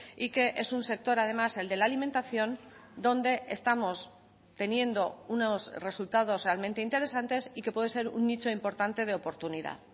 y que es un sector además el de la alimentación donde estamos teniendo unos resultados realmente interesantes y que puede ser un nicho importante de oportunidad